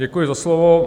Děkuji za slovo.